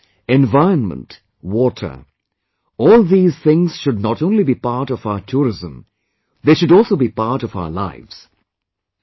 Nature, environment, water all these things should not only be part of our tourism they should also be a part of our lives